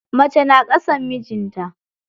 Mace na ƙasan mijinta.